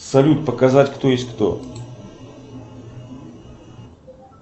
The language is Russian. салют показать кто есть кто